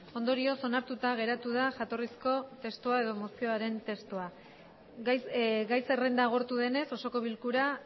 ondorioz onartuta geratu da jatorrizko mozioaren testua gai zerrenda agortu denez osoko bilkura